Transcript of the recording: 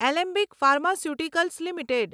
Alembic pharmaceuticals limited